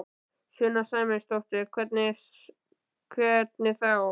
Sunna Sæmundsdóttir: Hvernig þá?